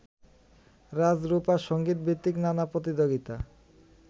রাজরূপা সংগীতভিত্তিক নানা প্রতিযোগিতা